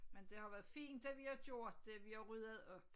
Men det har været fint det vi har gjort det vi har ryddet op